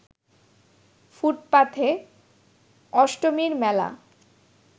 ফুটপাথে অষ্টমীর মেলা